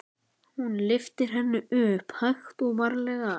Hún lyftir henni upp, hægt og varlega.